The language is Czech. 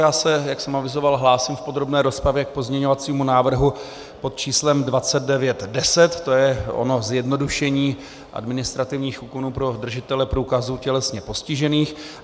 Já se, jak jsem avizoval, hlásím v podrobné rozpravě k pozměňovacímu návrhu pod číslem 2910, to je ono zjednodušení administrativních úkonů pro držitele průkazů tělesně postižených.